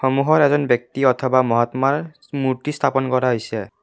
সন্মুখত এজন ব্যক্তি অথবা মহাত্মাৰ মুৰ্ত্তি স্থাপন কৰা হৈছে।